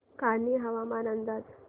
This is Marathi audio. कान्हे हवामान अंदाज